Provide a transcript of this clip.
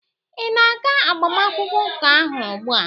ị na-aga agbamakwụkwọ ụka ahụ ugbua?